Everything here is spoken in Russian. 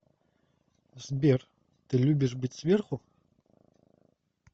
сбер ты любишь быть сверху